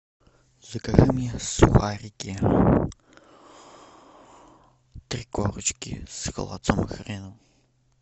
закажи мне сухарики три корочки с холодцом и хреном